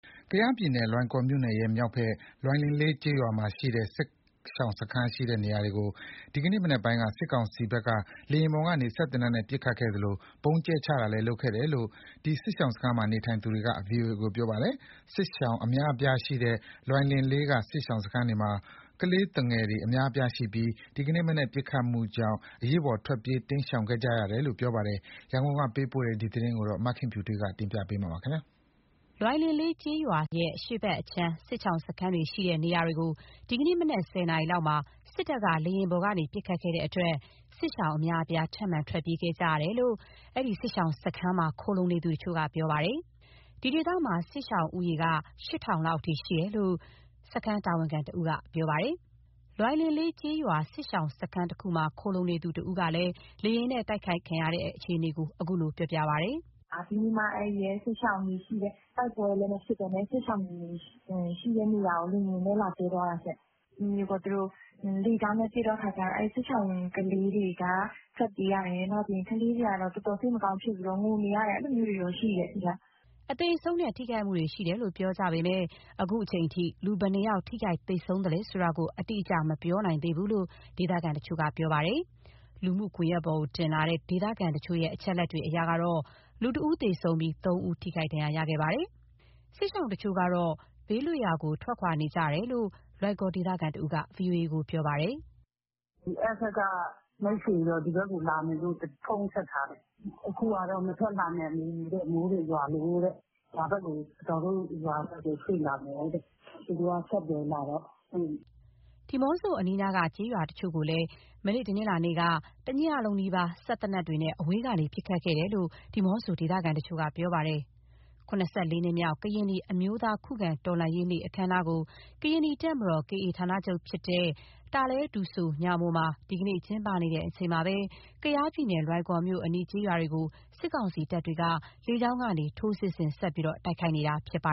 ကယားပြည်နယ်၊ လွိုင်ကော်မြို့နယ်ရဲ့ မြောက်ဘက် လွိုင်လင်လေးကျေးရွာက စစ်ရှောင်စခန်းရှိတဲ့ နေရာတွေကို ဒီနေ့မနက်ပိုင်းမှာ စစ်ကောင်စီဘက်က လေယာဉ်ပေါ်ကနေ စက်သေနတ်နဲ့ ပစ်ခတ်ခဲ့သလို ဗုံးလည်းကြဲချခဲ့တယ်လို့ ဒီစစ်ရှောင်စခန်းမှာ နေထိုင်သူတွေက ဗွီအိုအေကို ပြောပါတယ်။ စစ်ရှောင်အများအပြားရှိတဲ့ လွိုင်လင်လေးက စစ်ရှောင်စခန်းတွေမှာ ကလေးသူငယ်တွေ အများအပြားရှိပြီး ဒီနေ့မနက်က ပစ်ခတ်မှုကြောင့် အရေးပေါ်ထွက်ပြေး တိမ်းရှောင်ခဲ့ရတယ်လို့ ပြောပါတယ်။ ရန်ကုန်ကပေးပို့တဲ့သတင်းကို မခင်ဖြူထွေးက တင်ပြပေးထားပါတယ်။ လွိုင်လင်ကျေးရွာရဲ့ အရှေ့ဘက်အခြမ်းဘက်မှာရှိတဲ့ စစ်ရှောင်စခန်းရှိတဲ့နေရာတွေကို ဒီနေ့မနက် ၁၀ နာရီလောက်မှာ စစ်တပ်က လေယာဉ်ပေါ်ကနေ ပစ်ခတ်ခဲ့တဲ့အတွက် စစ်ရှောင်အများအပြား ထပ်မံထွက်ပြေးကြရတယ်လို့ အဲဒီစခန်းမှာ ခိုလှုံနေသူတချို့က ပြောပါတယ်။ ဒီဒေသမှာ စစ်ရှောင်ဦးရေက ၈,၀၀၀ လောက်ရှိတယ်လို့ စစ်ရှောင်စခန်း တာဝန်ခံတဦးက ပြောပါတယ်။ လွိုင်လင်လေးကျေးရွာ စစ်ရှောင်စခန်းတခုမှာ ခိုလှုံနေသူတဦးက လေယာဉ်နဲ့တိုက် ခိုက်ခံခဲ့ရတဲ့ အခြေအနေကို အခုလိုပြောပြပါတယ်။ " ဒီနေ့မှ တိုက်ပွဲလည်းမရှိဘဲနဲ့ စစ်ရှောင်တွေရှိတဲ့ နေရာကို လေယာဉ်နဲ့ လာကြဲသွားတာရှင့်။ သူတို့ လေကြောင်းနဲ့ ပစ်တဲ့အခါကျတော့ အဲဒီ စစ်ရှောင်ကလေးတွေက ထွက်ပြေးရတယ်၊ နောက်ပြီး ကလေးတွေက တော်တော်စိတ်မကောင်းဖြစ်ပြီး ငိုနေရတယ် အဲလိုမျိုးရှိတယ်။" အသေအဆုံးနဲ့ ထိခိုက်မှုတွေရှိတယ်လို့ ပြောကြပေမယ့် အခုအချိန်အထိ ဘယ် နှယောက် ထိခိုက်သေဆုံးလဲဆိုတာကို အတိအကျ မပြောနိုင်သေးဘူလို့ ဒေသခံတချို့ကပြောပါတယ်။ လူမှုကွန်ရက်ပေါ်တင်လာတဲ့ ဒေသခံတချို့ရဲ့ အချက်အလက်တွေအရတော့ လူတဦးသေဆုံးပြီး ၃ ယောက်ထိခိုက်ခဲ့ပါတယ်။ စစ်ရှောင် တချို့ကတော့ ဘေးကင်းရာကို ထွက်ခွာနေကြတယ်လို့ လွိုင်ကော်ဒေသခံတဦးက ဗွီအိုအေကို ပြောပါတယ်။ " အဲဘက်ကမိတ်ဆွေတွေကတော့ ဒီဘက်ကိုလာမယ်လို့ ဖုန်းဆက်ထားတယ်။ အခုကတော့ မထွက်လာနိုင်ဘူးတဲ့ မိုးတွေရွာလို့တဲ့။ အဒေါ်တို့ရွာဘက်ကို ရွှေ့လာမယ် တဲ့။" ဒီးမော့ဆိုအနီးနားက ကျေးရွာတချို့ကိုလည်း မနေ့ တနင်္လာနေ့က တညလုံးနီးပါး စက်သေနတ်တွေနဲ့ အဝေးကနေပစ်ခတ်ခဲ့တယ်လို့ ဒီးမော့ဆိုဒေသခံတချို့က ပြောပါတယ်။ နှစ်မြောက် ကရင်နီအမျိုးသား ခုခံတော်လှန်ရေးနေ့ အခမ်းအနားကို ကရင်နီတပ်မတော် KA ဌာနချုပ်ဖြစ်တဲ့ တာလဲဒူဆို မှာ ဒီနေ့ကျင်းပနေချိန်မှာပဲ ကယားပြည်နယ် လွိုင်ကော်မြို့အနီး ကျေးရွာတွေကို စစ်ကောင်စီတပ်တွေက လေကြောင်းကနေ ထိုးစစ်ဆင်ဆက်လက် တိုက်ခိုက်နေတာဖြစ်ပါ